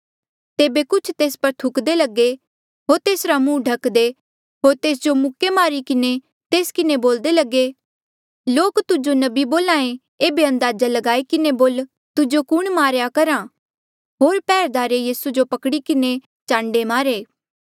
तेबे कुछ तेस पर थुकदे लगे होर तेसरा मुहं ढकदे होर तेस जो मुक्के मारी किन्हें तेस किन्हें बोल्दे लगे लोक तुजो नबी बोल्हा ऐें ऐबे अंदाजा लगाई किन्हे बोल तुजो कुण मारेया करहा होर पैहरेदारे यीसू जो पकड़ी किन्हें चांडे मारे